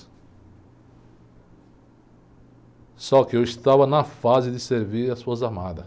Só que eu estava na fase de servir as Forças Armadas.